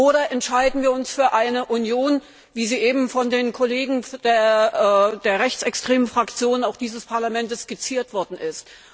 Oder entscheiden wir uns für eine Union, wie sie eben von den Kollegen der rechtsextremen Fraktion dieses Parlaments skizziert worden ist?